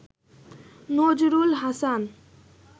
Nazrul Hasan